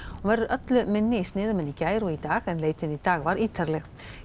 hún verður öllu minni í sniðum en í gær og í dag leitin í dag var ítarleg